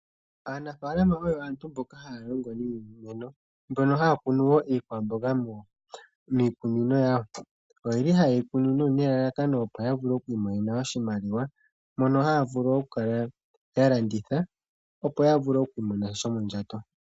Aanafaalama oyo aantu mboka haya longo niimeno, mbono haa kunu wo iikwamboga miikunino yawo. Oyeli haye yi kunu nelalakano opo ya vule okwimonena oshimaliwa mono haa vulu oku kala ya landitha opo ya vule okumona shomondjato.